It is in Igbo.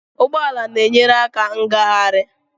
Ụgbọ ala na-enyere aka ngagharị.